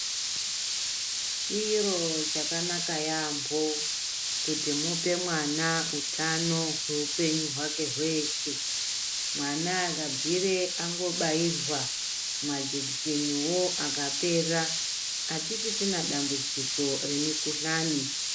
Chiro chakanaka yampho kuti mupe mwana utano hweupenyu hwake hweshe mwana akabvire angobairwa majekiseniwo akapera atisisina dambudziko remikuhlani.